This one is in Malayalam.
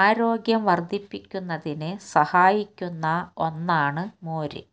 ആരോഗ്യം വർദ്ധിപ്പിക്കുന്നതിന് സഹായിക്കുന്ന ഒന്നാണ് മോര്